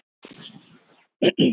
Þetta var Sonja.